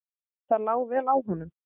Það lá vel á honum.